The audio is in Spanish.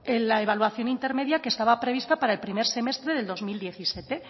la evaluación intermedia que estaba prevista para el primer semestre del dos mil diecisiete